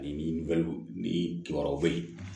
Ani ni kibaruyaw bɛ yen